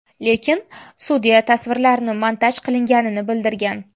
Lekin sudya tasvirlarni montaj qilinganini bildirgan.